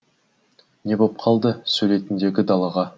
не боп қалды сөйлейтіндегі далаға